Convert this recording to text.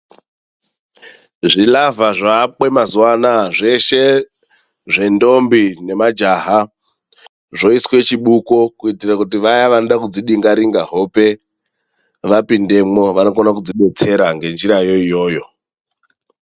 Zvilavha zvoakwe mazuwa anaya zveshe ,zvendombi nemajaha zvoiswe chibuko, kuitire kuti vaya vanode kudzidinga-ringa hope vapindemwo, vakone kuzvidetsera ngenjira iyoyo.